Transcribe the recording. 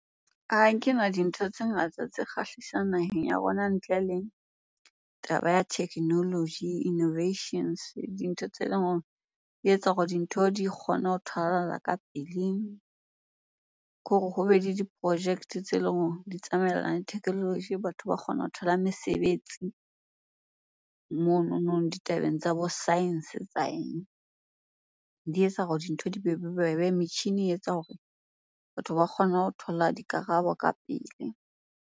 Ha kena dintho tse ngata tse kgahlisang naheng ya rona ntle le taba ya technology, innovations, dintho tse leng hore di etsa hore dintho di kgone ho tholahala ka pele. Khore hobe le di-project-e tse leng hore di tsamaellana le technology batho ba kgona ho thola mesebetsi mononong ditabeng tsa bo science, tsa eng. Di etsa hore dintho di bobebe, metjhini e etsa hore batho ba kgone ho thola dikarabo ka pele.